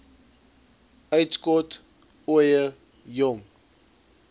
uitskot ooie jong